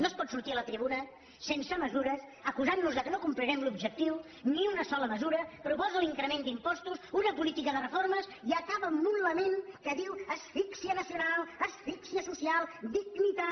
no es pot sortir a la tribuna sense mesures acusant nos que no complirem l’objectiu ni una sola mesura proposa l’increment d’impostos una polítiques de reformes i acaba amb un lament que diu asfíxia nacional asfíxia social dignitat